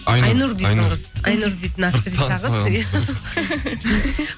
айнұр дейтін қыз айнұр дейтін актриса қыз